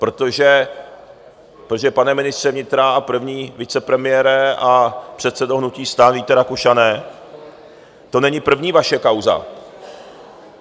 Protože, pane ministře vnitra a první vicepremiére a předsedo hnutí STAN Víte Rakušane, to není první vaše kauza.